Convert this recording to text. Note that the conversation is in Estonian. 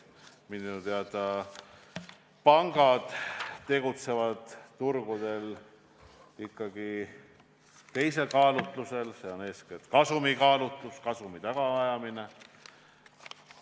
Minu teada tegutsevad pangad turgudel ikkagi teisel kaalutlusel, see on eeskätt kasumikaalutlus, kasumi tagaajamine.